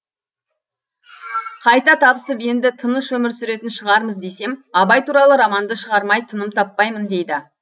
қайта табысып енді тыныш өмір сүретін шығармыз десем абай туралы романды шығармай тыным таппаймын дейді